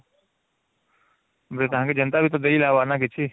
ଵାଲେତାଙ୍କେ ବି ତକିଛି